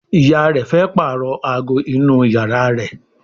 ìyá rẹ fe parọ àgọ inú iyàrá rẹ.